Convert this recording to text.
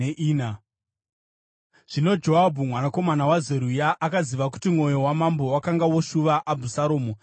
Zvino Joabhu mwanakomana waZeruya akaziva kuti mwoyo wamambo wakanga woshuva Abhusaromu.